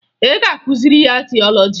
Ị ga-akụziri ya tiọlọji!